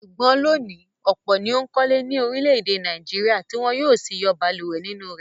Ṣùgbọ́n lónìí, ọ̀pọ̀ ni ó ń kọ́lé ní orílẹ̀-èdè Nàìjíríà tí wọ ń yóò sì yọ balùwẹ̀ nínú rẹ̀.